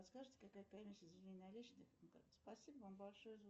сбер кем был переименован переяславль